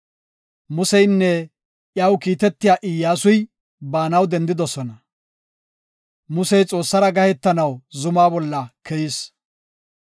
Museynne iyaw kiitetiya Iyyasuy baanaw dendidosona; Musey Xoossara gahetanaw zumaa bolla keyis.